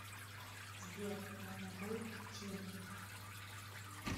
сбер я могу идти